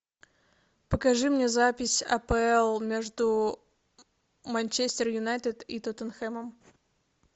покажи мне запись апл между манчестер юнайтед и тоттенхэмом